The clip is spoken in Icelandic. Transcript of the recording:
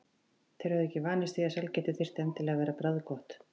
Þeir höfðu ekki vanist því að sælgæti þyrfti endilega að vera bragðgott.